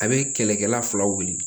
A bɛ kɛlɛkɛla fila wele